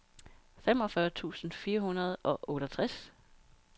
femogfyrre tusind fire hundrede og otteogtres